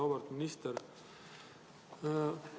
Auväärt minister!